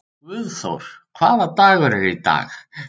Guðþór, hvaða dagur er í dag?